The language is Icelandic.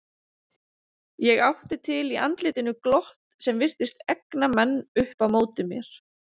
Ég átti til í andlitinu glott sem virtist egna menn upp á móti mér.